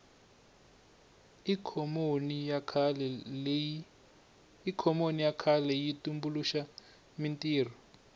ikhonomi ya kahle yi tumbuluxa mintirho